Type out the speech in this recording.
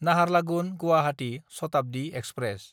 Naharlagun-Guwahati Shatabdi express